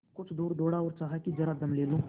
कुछ दूर दौड़ा और चाहा कि जरा दम ले लूँ